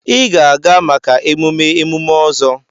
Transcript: Ị ga-aga maka emume emume ọzọ!